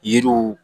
Yiriw